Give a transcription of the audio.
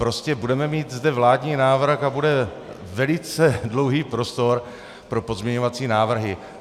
Prostě budeme mít zde vládní návrh a bude velice dlouhý prostor pro pozměňovací návrhy.